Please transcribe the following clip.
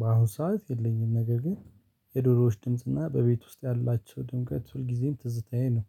በአሁኑ ሰዓት የለኝም ነገር ግን የዶሮዎች ድምጽና በቤት ውስጥ ያላቸው ድንገት ሁልጊዜም ትዝታዬ ነው።